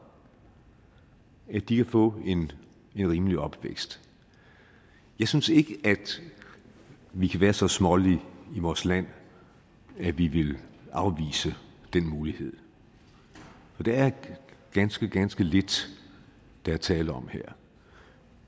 at de kan få en rimelig opvækst jeg synes ikke at vi kan være så smålige i vores land at vi vil afvise den mulighed det er ganske ganske lidt der er tale om her